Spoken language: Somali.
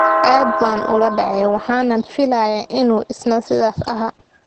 Aad baan ula dhacay, waxaanan filayaa inuu isna sidaas ahaa.